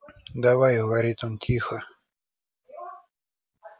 давай говорит он тихо